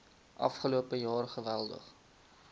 afgelope jaar geweldig